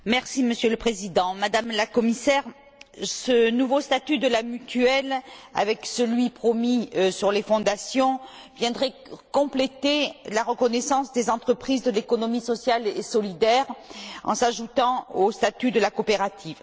Monsieur le Président, Madame la Commissaire, ce nouveau statut de la mutuelle, avec celui promis sur les fondations, viendraient compléter la reconnaissance des entreprises de l'économie sociale et solidaire en s'ajoutant au statut de la coopérative.